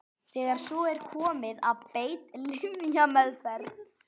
Þegar svo er komið er beitt lyfjameðferð.